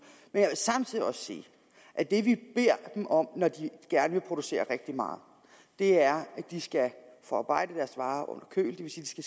men jeg vil samtidig også sige at det vi beder dem om når de gerne vil producere rigtig meget er at de skal forarbejde deres varer under køl det